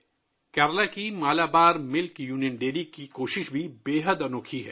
کیرالہ کی مالابار دودھ union dairy کی کوشش بھی بہت منفرد ہے